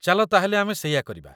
ଚାଲ ତା'ହେଲେ ଆମେ ସେଇଆ କରିବା।